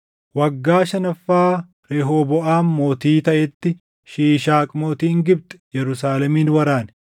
Waggaa shanaffaa Rehooboʼaam mootii taʼetti Shiishaaq mootiin Gibxi Yerusaalemin waraane.